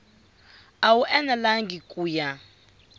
a wu enelangi ku ya